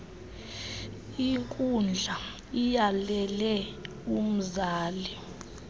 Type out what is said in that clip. inkundla iyalele umzali